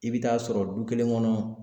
I bɛ t'a sɔrɔ du kelen kɔnɔ